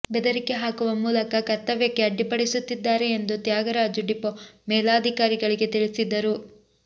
ಬೆದರಿಕೆ ಹಾಕುವ ಮೂಲಕ ಕರ್ತವ್ಯಕ್ಕೆ ಅಡ್ಡಿಪಡಿಸುತ್ತಿದ್ದಾರೆ ಎಂದು ತ್ಯಾಗರಾಜು ಡಿಪೋ ಮೇಲಧಿಕಾರಿಗಳಿಗೆ ತಿಳಿಸಿದ್ದರು